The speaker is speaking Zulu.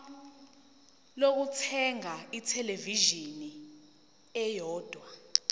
lokuthenga ithelevishini eyodwa